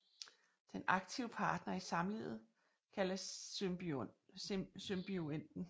Den aktive partner i samlivet kaldes symbionten